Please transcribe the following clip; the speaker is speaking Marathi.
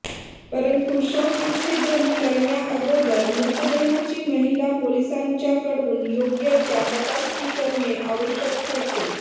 परंतु शवविच्छेदन करण्याआगोदर मृतदेहाची महिला पोलिसांच्याकडून योग्य त्या तपासणी करणे आवश्यक ठरते